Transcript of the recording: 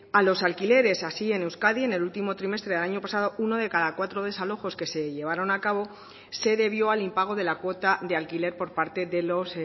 a los alquileres así en euskadi en el último trimestre del año pasado uno de cada cuatro desalojos que se llevaron a cabo se debió al impago de la cuota de alquiler por parte de los